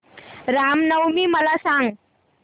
राम नवमी मला सांग